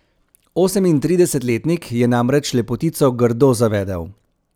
Osemintridesetletnik je namreč lepotico grdo zavedel.